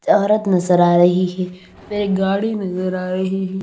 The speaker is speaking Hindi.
औरत नजर आ रही है फिर एक गाड़ी नजर आ रही है।